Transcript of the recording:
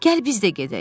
Gəl biz də gedək.